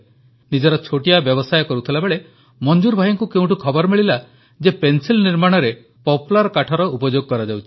ନିଜର ଛୋଟିଆ ବ୍ୟବସାୟ କରୁଥିଲାବେଳେ ମଂଜୁର ଭାଇଙ୍କୁ କେଉଁଠୁ ଖବର ମିଳିଲା ଯେ ପେନସିଲ୍ ନିର୍ମାଣରେ ପପ୍ଲାର୍ କାଠର ଉପଯୋଗ କରାଯାଉଛି